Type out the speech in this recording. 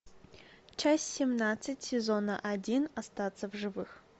часть семнадцать сезона один остаться в живых